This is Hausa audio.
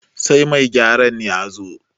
sai mai gyaran ya zo